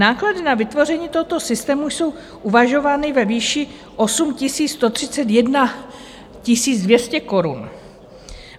Náklady na vytvoření tohoto systému jsou uvažovány ve výši 8 131 200 korun.